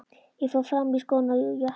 Ég fór fram og í skóna og jakkann.